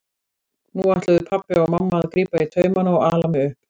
Nú ætluðu pabbi og mamma að grípa í taumana og ala mig upp.